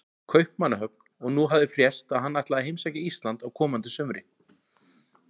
Kaupmannahöfn, og nú hafði frést að hann ætlaði að heimsækja Ísland á komandi sumri.